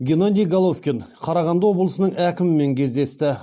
геннадий головкин қарағанды облысының әкімімен кездесті